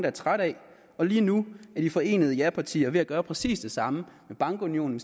er trætte af og lige nu er de forenede japartier ved at gøre præcis det samme med bankunionen